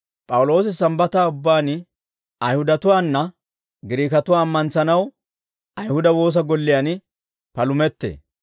P'awuloosi Sambbataa ubbaan Ayihudatuwaana Giriikatuwaa ammantsanaw Ayihuda woosa golliyaan palumettee.